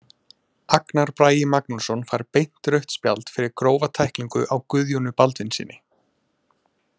Agnar Bragi Magnússon fær beint rautt spjald fyrir grófa tæklingu á Guðjóni Baldvinssyni.